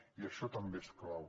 i això també és clau